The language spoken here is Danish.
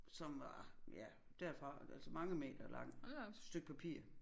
Som var ja derfra og altså mange meter langt stykke papir